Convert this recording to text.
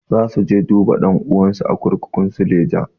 Za su je duba ɗan'uwansu a kurkukun suleja.